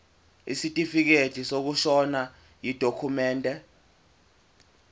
isitifikedi sokushona yidokhumende